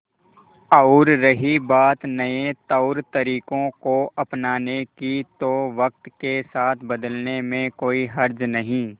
और रही बात नए तौरतरीकों को अपनाने की तो वक्त के साथ बदलने में कोई हर्ज नहीं